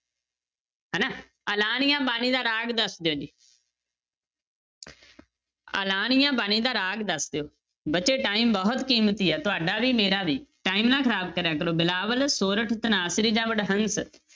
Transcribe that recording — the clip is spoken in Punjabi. ਹਨਾ ਆਲਾਣੀਆ ਬਾਣੀ ਦਾ ਰਾਗ ਦੱਸ ਦਿਓ ਜੀ ਆਲਾਣੀਆ ਬਾਣੀ ਦਾ ਰਾਗ ਦੱਸ ਦਿਓ ਬੱਚੇ time ਬਹੁਤ ਕੀਮਤੀ ਹੈ ਤੁਹਾਡਾ ਵੀ ਮੇਰਾ ਵੀ time ਨਾ ਖ਼ਰਾਬ ਕਰਿਆ ਕਰੋ, ਬਿਲਾਵਲ, ਸੋਰਠ, ਧਨਾਸਰੀ ਜਾਂਂ ਵਡਹੰਸ?